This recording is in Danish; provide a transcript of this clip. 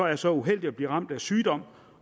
er så uheldig at blive ramt af sygdom